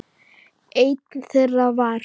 Einn þeirra var